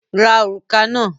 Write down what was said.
Ra òrùka náà!